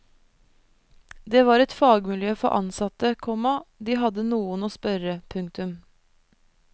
Det var et fagmiljø for ansatte, komma de hadde noen å spørre. punktum